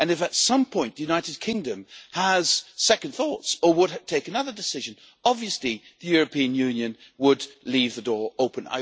If at some point the United Kingdom had second thoughts or were to take another decision, obviously the European Union would leave the door open.